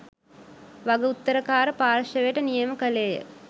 වග උත්තරකාර පාර්ශවයට නියම කළේය